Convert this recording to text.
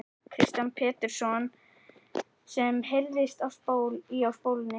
Kristján Pétursson sem heyrðist í á spólunni.